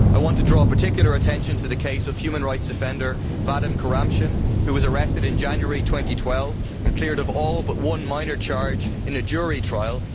I want to draw particular attention to the case of human rights defender Vadim Kuramshin, who was arrested in January 2012 and cleared of all but one minor charge in a jury trial.